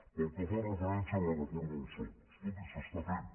pel que fa referència a la reforma del soc escolti s’està fent